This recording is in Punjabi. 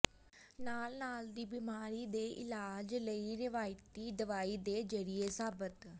ਨਾਲ ਨਾਲ ਦੀ ਬਿਮਾਰੀ ਦੇ ਇਲਾਜ ਲਈ ਰਵਾਇਤੀ ਦਵਾਈ ਦੇ ਜ਼ਰੀਏ ਸਾਬਤ